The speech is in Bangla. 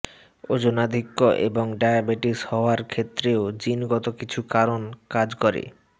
ওজনাধিক্য এবং ডায়াবেটিস হওয়ার ক্ষেত্রেও জিনগত কিছু কারণ কাজ করে